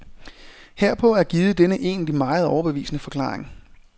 Herpå er givet denne egentlig meget overbevisende forklaring.